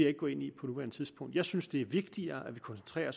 ikke gå ind i på nuværende tidspunkt jeg synes det er vigtigere at vi koncentrerer